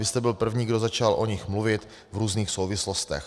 Vy jste byl první, kdo začal o nich mluvit v různých souvislostech.